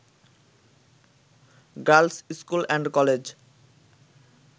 girls school and college